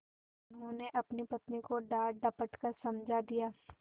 उन्होंने अपनी पत्नी को डाँटडपट कर समझा दिया